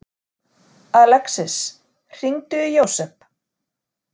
Alexis, hringdu í Jósep.